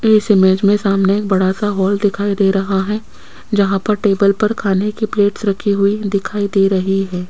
इस इमेज में सामने एक बड़ा सा हॉल दिखाई दे रहा है जहां पर टेबल पर खाने की प्लेट्स रखी हुई दिखाई दे रही है।